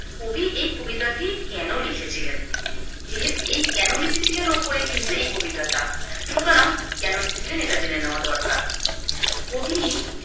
কবি এই কবিতাটি কেনো লিখেছিলেন, যেহে এই কেনো লিখেছিলেন ওপরেই কিন্তু এই কবিতাটা, সুতরাং কেন লিখেছিলেন এটা জেনে নেওয়া দরকার। কবি